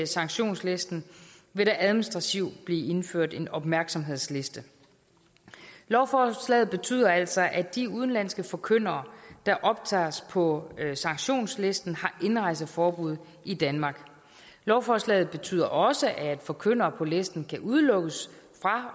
sanktionslisten vil der administrativt blive indført en opmærksomhedsliste lovforslaget betyder altså at de udenlandske forkyndere der optages på sanktionslisten har indrejseforbud i danmark lovforslaget betyder også at forkyndere på listen kan udelukkes fra